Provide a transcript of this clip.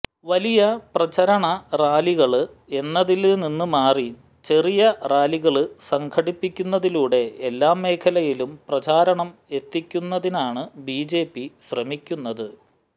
വലിയ പ്രചരണ റാലികള് എന്നതില് നിന്ന് മാറി ചെറിയ റാലികള് സംഘടിപ്പിക്കുന്നതിലൂടെ എല്ലാമേഖലയിലും പ്രചാരണം എത്തിക്കുന്നതിനാണ് ബിജെപി ശ്രമിക്കുന്നത്